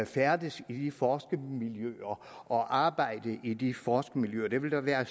færdes i de forskermiljøer og arbejde i de forskermiljøer det ville da være